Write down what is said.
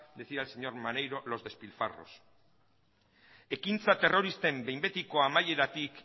decir al señor maneiro los despilfarros ekintza terroristen behin betiko amaieratik